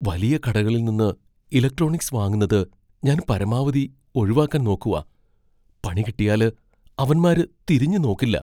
വലിയ കടകളിൽ നിന്ന് ഇലക്ട്രോണിക്സ് വാങ്ങുന്നത് ഞാൻ പരമാവധി ഒഴിവാക്കാൻ നോക്കുവാ. പണികിട്ടിയാല് അവന്മാര് തിരിഞ്ഞുനോക്കില്ല.